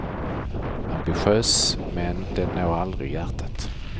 Ambitiös, men den når aldrig hjärtat.